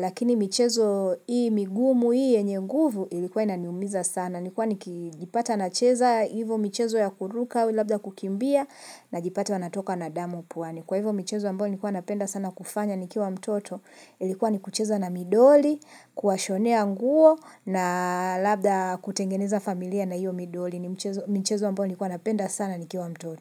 lakini michezo hii migumu hii yenye nguvu ilikuwa inaniumiza sana. Nilikuwa nikijipata nacheza hivo michezo ya kuruka, labda kukimbia, najipata natokwa na damu puani. Kwa hivyo michezo ambayo nilikuwa napenda sana kufanya nikiwa mtoto, ilikuwa ni kucheza na midoli, kuwashonea nguo, na labda kutengeneza familia na hiyo midoli. Ni michezo ambayo nilikuwa napenda sana nikiwa mtoto.